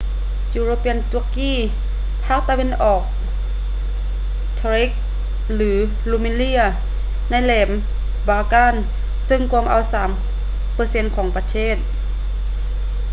european turkey ພາກຕາເວັນອອກ thrace ຫຼື rumelia ໃນແຫຼມ balkan ເຊິ່ງກວມເອົາ 3% ຂອງປະເທດ